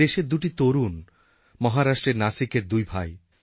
আমার দেশের দুটি তরুণ মহারাষ্ট্রের নাসিকের দুই ভাই